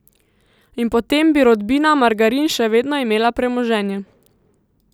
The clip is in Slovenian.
In potem bi rodbina Margarin še vedno imela premoženje.